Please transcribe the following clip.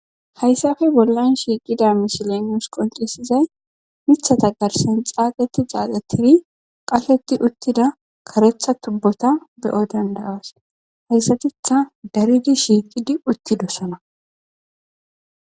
Hayssafe bollan shiiqida mishilenius qoncisizay mithata garsen xaaxeti xaaxetiri qasheti uttida karetha tubbota beyo dandayaas hayssatitha daridi shiiqidi uttidossana.